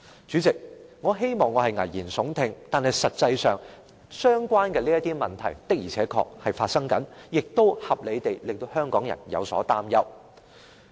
主席，我希望我是危言聳聽，但實際上，相關問題的確正在發生，亦合理地令香港人有所擔憂。